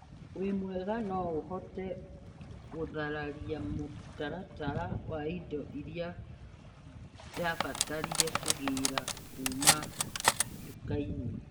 Wĩmwega, no ũhote gũtharia mũtaratara wa indo iria ndabatarire kũgĩa kuma nduka-inĩ?